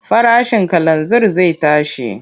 Farashin kalanzir zai tashi.